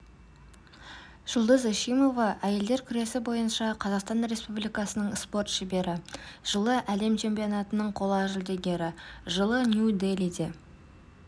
жұлдыз эшимова әйелдер күресі бойынша қазақстан республикасының спорт шебері жылы әлем чемпионатының қола жүлдегері жылы нью-делиде